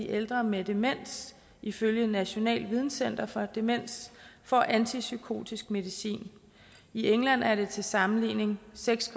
ældre med demens ifølge nationalt videncenter for demens får antipsykotisk medicin i england er det til sammenligning seks